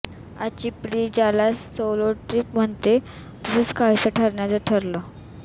आजची पिढी ज्याला सोलो ट्रिप म्हणते तसंच काहीसं करण्याचं ठरवलं